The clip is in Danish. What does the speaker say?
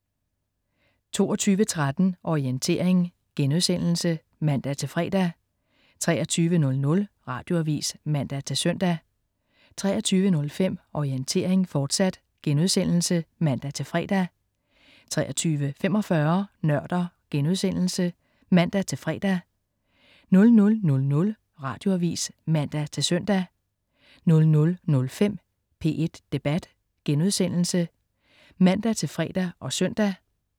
22.13 Orientering* (man-fre) 23.00 Radioavis (man-søn) 23.05 Orientering, fortsat* (man-fre) 23.45 Nørder* (man-fre) 00.00 Radioavis (man-søn) 00.05 P1 Debat* (man-fre og søn)